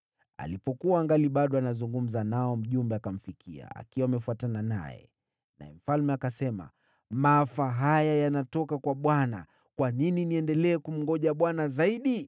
Alipokuwa angali bado anazungumza nao, mjumbe akamfikia. Naye mfalme akasema, “Maafa haya yanatoka kwa Bwana . Kwa nini niendelee kumngoja Bwana zaidi?”